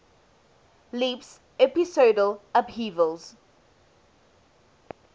leaps episodal upheavals